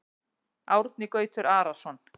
Árni Gautur Arason